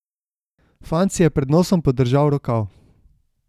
Fant si je pred nosom podržal rokav.